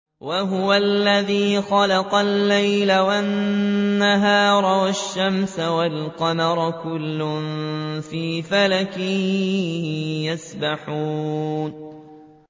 وَهُوَ الَّذِي خَلَقَ اللَّيْلَ وَالنَّهَارَ وَالشَّمْسَ وَالْقَمَرَ ۖ كُلٌّ فِي فَلَكٍ يَسْبَحُونَ